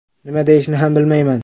Nima deyishni ham bilmayman.